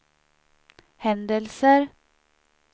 händelser